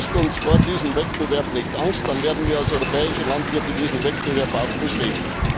Dann ist uns vor diesem Wettbewerb nicht Angst, dann werden wir als europäische Landwirte diesen Wettbewerb auch bestehen.